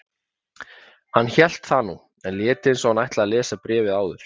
Hann hélt það nú, en lét eins og hann ætlaði að lesa bréfið áður.